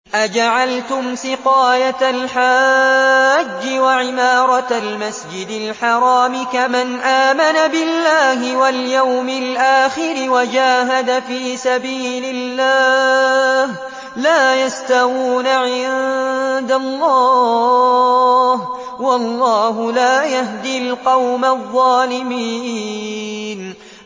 ۞ أَجَعَلْتُمْ سِقَايَةَ الْحَاجِّ وَعِمَارَةَ الْمَسْجِدِ الْحَرَامِ كَمَنْ آمَنَ بِاللَّهِ وَالْيَوْمِ الْآخِرِ وَجَاهَدَ فِي سَبِيلِ اللَّهِ ۚ لَا يَسْتَوُونَ عِندَ اللَّهِ ۗ وَاللَّهُ لَا يَهْدِي الْقَوْمَ الظَّالِمِينَ